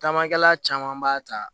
Caman kɛla caman b'a ta